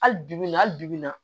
Hali bibi in na hali bi bi in na